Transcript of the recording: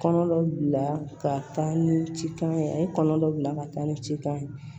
Kɔnɔ bila ka taa ni cikan ye a ye kɔnɔ dɔ bila ka taa ni cikan ye